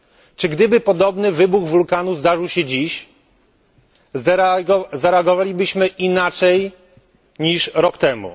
Czy gdyby podobny wybuch wulkanu zdarzył się dziś, zareagowalibyśmy inaczej niż rok temu?